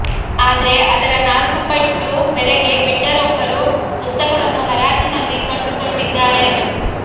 ಆದ್ರೆ ಅದರ ನಾಲ್ಕು ಪಟ್ಟು ಬೆಲೆಗೆ ಬಿಡ್ಡರ್ ಒಬ್ಬರು ಪುಸ್ತಕವನ್ನು ಹರಾಜಿನಲ್ಲಿ ಕೊಂಡುಕೊಂಡಿದ್ದಾರೆ